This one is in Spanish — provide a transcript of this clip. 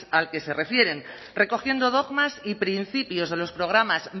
al que se refieren recogiendo dogmas y principios de los programas